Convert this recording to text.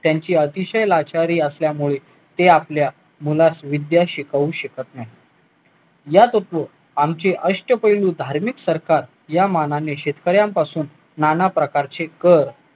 त्यांची अतिशय लाचारी असल्यामुळे ते आपल्या कुणास विद्या शिकवू शकत नाही या बद्दल आमचे अष्टपैलू धार्मिक संस्थान या मानाने शेतकऱ्यांपासून नाना प्रकारचे कर